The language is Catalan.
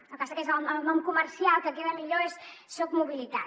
el que passa que el nom comercial que queda millor és socmobilitat